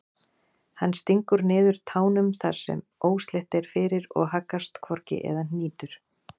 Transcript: Hann stingur niður tánum þar sem óslétt er fyrir og haggast hvorki eða hnýtur.